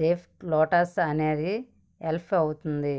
depth Lotus అనే elf ఉంటుంది